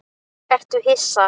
Ertu hissa?